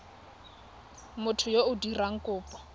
motho yo o dirang kopo